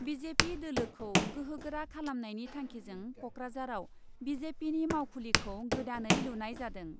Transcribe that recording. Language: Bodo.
बि जे पि दोलोखौ गोहो गोरा खालामनायनि थांखिजों क'क्राझाराव बि जे पिनि मावखुलिखौ गोदानै लुनाय जादों।